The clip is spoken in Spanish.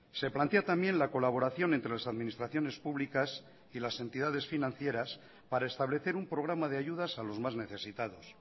se plantea también la colaboración entre las administraciones públicas y las entidades financieras para establecer un programa de ayudas a los más necesitados